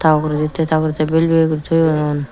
ta ogure tey ta ogure tey bel bel guri toyun.